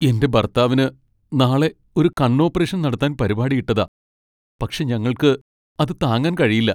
എൻറെ ഭർത്താവിന് നാളെ ഒരു കണ്ണ് ഓപ്പറേഷൻ നടത്താൻ പരിപാടി ഇട്ടതാ , പക്ഷേ ഞങ്ങൾക്ക് അത് താങ്ങാൻ കഴിയില്ല.